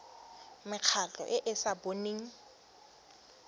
mekgatlho e e sa boneng